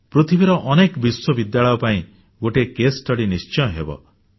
ପୃଥିବୀର ଅନେକ ବିଶ୍ୱବିଦ୍ୟାଳୟ ପାଇଁ ନିଶ୍ଚୟ ଗୋଟିଏ କେସ୍ ଷ୍ଟଡି ହେବ